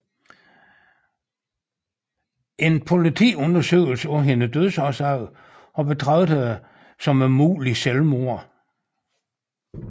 En politiundersøgelse af hendes dødsårsag har betragtet det som et muligt selvmord